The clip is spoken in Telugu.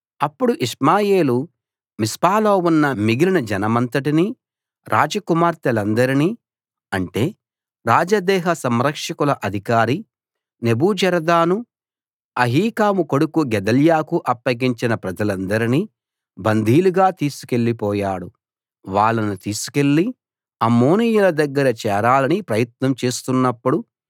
అప్పుడు ఇష్మాయేలు మిస్పాలో ఉన్న మిగిలిన జనమంతటినీ రాజకుమార్తెలందరినీ అంటే రాజదేహ సంరక్షకుల అధికారి నెబూజరదాను అహీకాము కొడుకు గెదల్యాకు అప్పగించిన ప్రజలందరినీ బందీలుగా తీసుకెళ్ళిపోయాడు వాళ్ళను తీసుకెళ్ళి అమ్మోనీయుల దగ్గర చేరాలని ప్రయత్నం చేస్తున్నప్పుడు